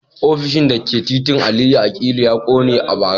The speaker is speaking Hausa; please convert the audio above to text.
Ofishin da ke titin Aliyu Akilu ya kone a bara